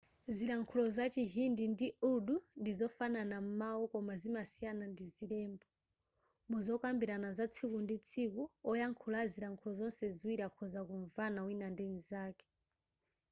zilankhulo za chihindi ndi urdu ndi zofanana m'mawu koma zimasiyana ndi zilembo muzokambirana za tsiku ndi tsiku oyankhula a zilankhulo zonse ziwiri akhoza kumvana wina ndi nzake